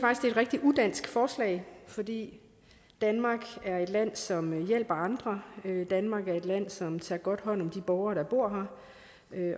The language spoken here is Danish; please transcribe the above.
rigtig udansk forslag fordi danmark er et land som hjælper andre danmark er et land som tager godt hånd om de borgere der bor her